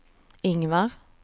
Ingvar